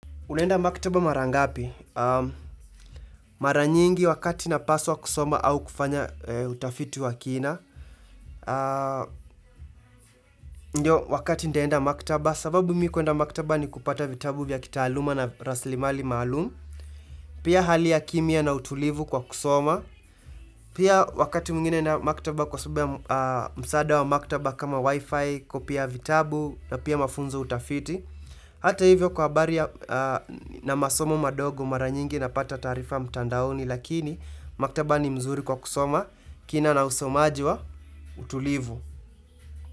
Unenda maktaba mara ngapi? Mara nyingi wakati napaswa kusoma au kufanya utafiti wa kina. Ndio wakati ndenda maktaba, sababu mi kuenda maktaba ni kupata vitabu vya kitaaluma na raslimali maalumu, pia hali ya kimya na utulivu kwa kusoma, pia wakati mwngine na maktaba kwa sababu ya msaada wa maktaba kama wifi, copy ya vitabu na pia mafunzo utafiti. Hata hivyo kwa baria na masomo madogo maranyingi na pata tarifa mtandaoni lakini maktaba ni mzuri kwa kusoma, kina na usomaji wa, utulivu.